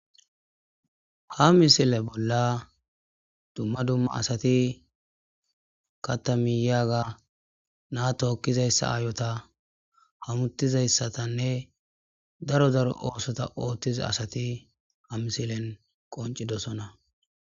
Ha misile bolla dumma dumma asati katamiyaga naa tookkizayssa aayota hamutizayssatanne daro daro oosota ooththiza asati ha misilen qoncidosona.